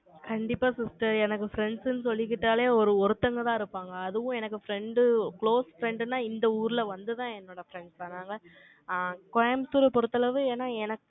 கண்டிப்பா sister எனக்கு friends ன்னு சொல்லிக்கிட்டாலே, ஒரு ஒருத்தங்கதான் இருப்பாங்க. அதுவும் எனக்கு friend close friend ன்னா, இந்த ஊர்ல வந்துதான், என்னோட friends நாங்க, ஆங், கோயம்புத்தூரை பொறுத்த அளவு, ஏன்னா எனக்கு